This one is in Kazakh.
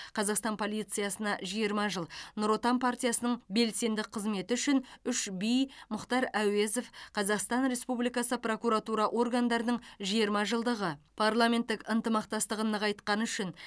қазақстан полициясына жиырма жыл нұр отан партиясының белсенді қызметі үшін үш би мұхтар әуезов қазақстан республикасы прокуратура органдарының жиырма жылдығы парламенттік ынтымақтастығын нығайтқаны үшін